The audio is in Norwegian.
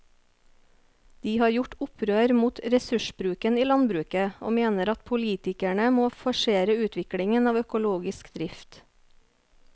De har gjort opprør mot ressursbruken i landbruket og mener at politikerne må forsere utviklingen av økologisk drift.